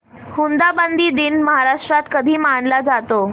हुंडाबंदी दिन महाराष्ट्रात कधी मानला जातो